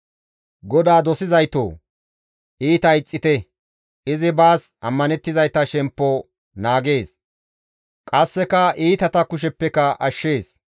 GODAA dosizaytoo! Iita ixxite; izi baas ammanettizayta shemppo naagees; qasseka iitata kusheppeka ashshees.